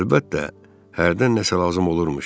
Əlbəttə, hərdən nəsə lazım olurmuş.